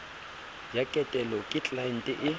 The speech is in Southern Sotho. ya ketelo ke tlelaente e